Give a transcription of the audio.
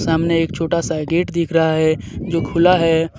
सामने एक छोटा सा गेट दिख रहा है जो खुला है.